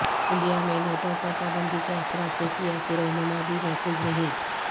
India میں نوٹوں پر پابندی کے اثرات سے سیاسی رہنما بھی محفوظ نہیں